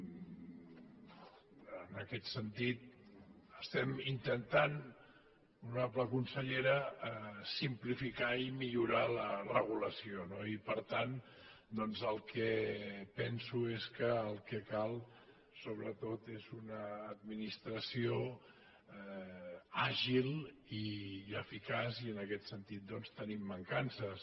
en aquest sentit estem intentant honorable consellera simplificar i millorar la regulació no i per tant doncs el que penso és que el que cal sobretot és una administració àgil i eficaç i en aquest sentit doncs tenim mancances